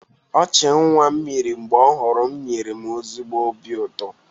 Ọchị nwa m mịrị mgbe ọ hụrụ m nyere m ezigbo obi ụtọ.